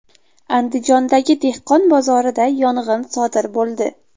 Andijondagi dehqon bozorida yong‘in sodir bo‘ldi .